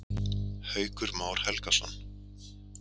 Haukur Már Helgason.